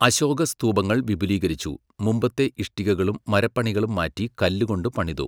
അശോക സ്തൂപങ്ങൾ വിപുലീകരിച്ചു, മുമ്പത്തെ ഇഷ്ടികകളും മരപ്പണികളും മാറ്റി കല്ലുകൊണ്ട് പണിതു.